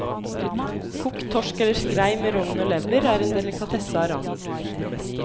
Kokt torsk eller skrei med rogn og lever er en delikatesse av rang.